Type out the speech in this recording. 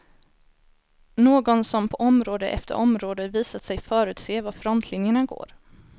Någon som på område efter område visat sig förutse var frontlinjerna går.